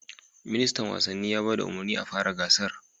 Ministan wasanni ya ba da umarnin a fara gasar